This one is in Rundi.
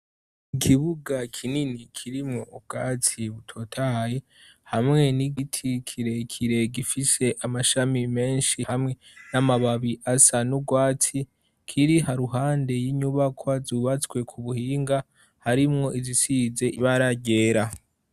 Ikibuga kinini kirimwo ubwatsi butotahaye hamwe n'igiti kire kire gifise amashami menshi hamwe n'amababi asa n' ugwatsi kiri haruhande y'inyubakwa zubatswe ku buhinga harimwo izisize ibara ryera.